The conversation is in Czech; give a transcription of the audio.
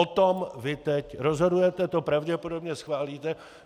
O tom vy teď rozhodujete, to pravděpodobně schválíte.